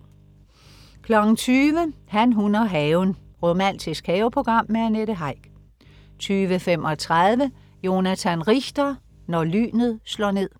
20.00 Han, hun og haven. Romantisk haveprogram med Annette Heick 20.35 Jonathan Richter: Når lynet slår ned